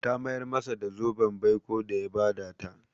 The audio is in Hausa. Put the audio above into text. Ta mayar masa da zoben baiko da ya ba ta.